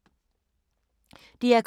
DR K